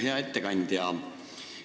Hea ettekandja!